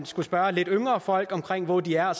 skulle spørge lidt yngre folk hvor de er